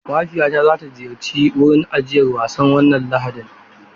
Mahaifiyata za ta ziyarci wurin ajiyar wasan wannan Lahadi.